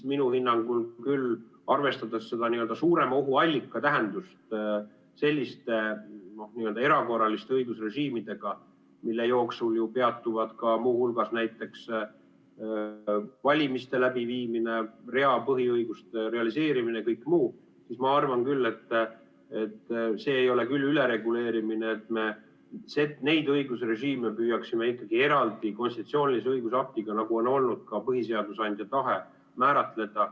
Minu hinnangul, arvestades n-ö seda suurema ohu allika tähendust selliste erakorraliste õigusrežiimidega, mille jooksul peatuvad muu hulgas näiteks valimiste läbiviimine, mitmete põhiõiguste realiseerimine, kõik muu, siis ma arvan küll, et see ei ole ülereguleerimine, kui me neid õigusrežiime püüaksime ikkagi eraldi konstitutsioonilise õigusaktiga – nagu on olnud ka põhiseaduse andja tahe – määratleda.